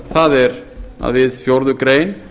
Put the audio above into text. það er að við fjórðu grein